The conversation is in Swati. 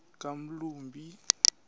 kamlumbi